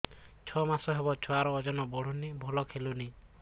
ଛଅ ମାସ ହବ ଛୁଆର ଓଜନ ବଢୁନି ଭଲ ଖେଳୁନି